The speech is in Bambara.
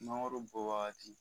Mangoro bɔ wagati